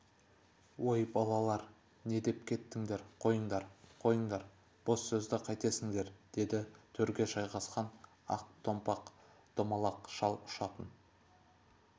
ой балалар не деп кеттіңдер қойыңдар қойыңдар бос сөзді қайтесіңдер деді төрге жайғасқан ақ томпақ домалақ шал ұшатын